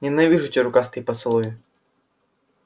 ненавижу эти рукастые поцелуи